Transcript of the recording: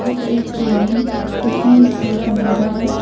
य एक रूम है जिसमें बहुत अंधेरा है।